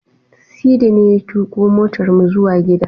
Sidi ne ya tuƙo motarmu zuwa gida.